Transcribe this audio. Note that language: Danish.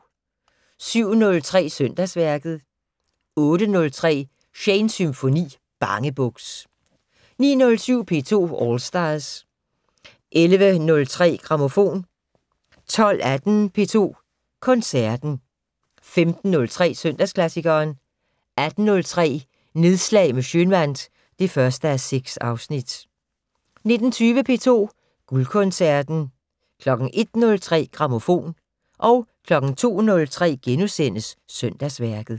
07:03: Søndagsværket 08:03: Shanes Symfoni - Bangebuks 09:07: P2 All Stars 11:03: Grammofon 12:15: P2 Koncerten 15:03: Søndagsklassikeren 18:03: Nedslag med Schønwandt (1:6) 19:20: P2 Guldkoncerten 01:03: Grammofon 02:03: Søndagsværket *